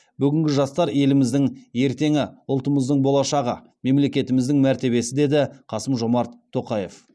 бүгінгі жастар еліміздің ертеңі ұлтымыздың болашағы мемлекетіміздің мәртебесі деді қасым жомарт тоқаев